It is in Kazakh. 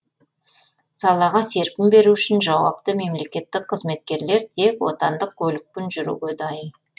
салаға серпін беру үшін жауапты мемлекеттік қызметкерлер тек отандық көлікпен жүруге дайын